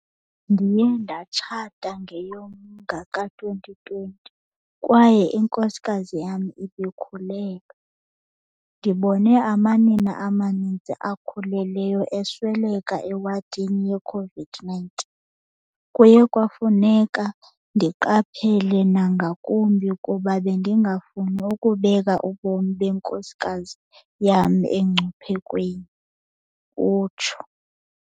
"Ndiye ndatshata ngeyoMnga ka-2020 kwaye inkosikazi yam ibikhulelwe. Ndibone amanina amaninzi akhulelweyo esweleka ewadini ye-COVID-19. Kuye kwafuneka ndiqaphele nangakumbi kuba bendingafuni nokubeka ubomi benkosikazi yam emngciphekweni," utsho.